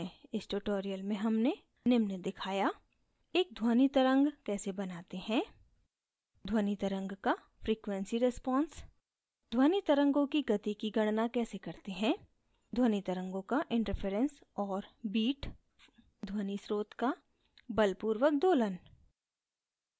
इस tutorial में हमने निम्न दिखाया: